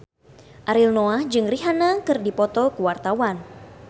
Ariel Noah jeung Rihanna keur dipoto ku wartawan